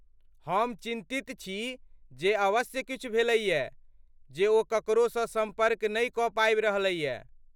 हम चिन्तित छी जे अवश्य किछु भेलैए जे ओ ककरोसँ सम्पर्क नहि कऽ पाबि रहलैए।